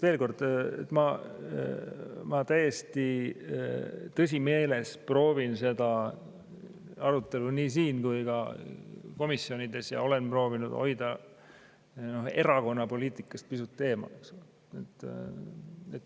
Veel kord, ma täiesti tõsimeeles proovin seda arutelu siin ja olen ka komisjonides proovinud seda hoida erakonnapoliitikast pisut eemal.